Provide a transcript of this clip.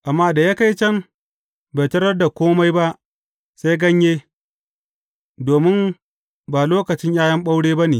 Amma da ya kai can, bai tarar da kome ba sai ganye, domin ba lokacin ’ya’yan ɓaure ba ne.